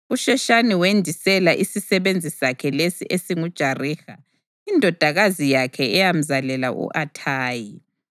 USheshani wendisela isisebenzi sakhe lesi esinguJariha, indodakazi yakhe eyamzalela u-Athayi.